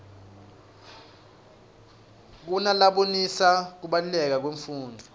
kunalabonisa kubaluleka kwemfundvo